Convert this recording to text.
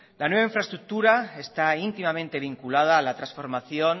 la nueva infraestructura está íntimamente vinculada a la transformación